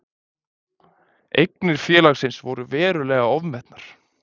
Eignir félagsins voru verulega ofmetnar